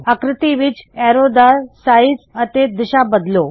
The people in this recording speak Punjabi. ਆਕ੍ਰਿਤੀ ਵਿੱਚ ਐਰੋ ਦਾ ਸਾਇਜ਼ ਅਤੇ ਦਿਸ਼ਾ ਬਦਲੋ